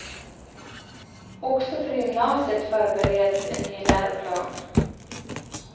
Också för gymnasiet förbereds en ny läroplan.